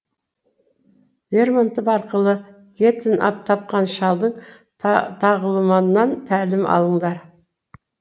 лермонтов арқылы гетені тапқан шалдың тағылымнан тәлім алыңдар